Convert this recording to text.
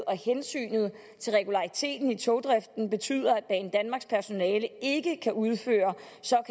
og hensynet til regulariteten i togdriften betyder at banedanmarks personale ikke kan udføre